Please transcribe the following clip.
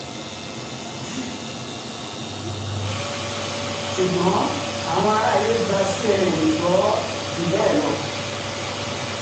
ṣùgbọ́n um àwọn àrààyè gba cnn gbọ́ um jù bẹ́ẹ̀ lọ